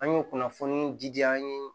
An y'o kunnafoni di yan